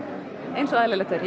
eins og eðlilegt er